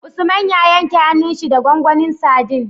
Usman ya yanke hanun shi da gwangwanin sadin